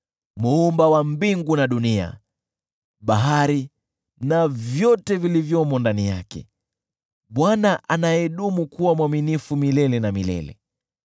Muumba wa mbingu na nchi, na bahari na vyote vilivyomo ndani yake: Bwana anayedumu kuwa mwaminifu milele na milele.